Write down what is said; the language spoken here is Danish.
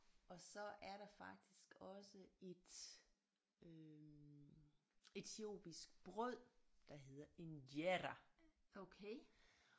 Og så er der faktisk også et øh etiopisk brød der hedder injera